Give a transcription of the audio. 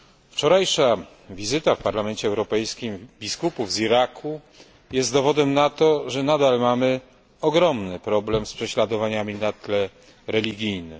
Wczorajsza wizyta w Parlamencie Europejskim biskupów z Iraku jest dowodem na to, że nadal mamy ogromny problem z prześladowaniami na tle religijnym.